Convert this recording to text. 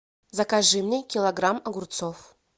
закажи мне килограмм огурцов